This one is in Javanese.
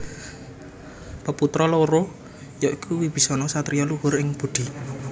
Peputra loro ya iku Wibisana satriya luhur ing budi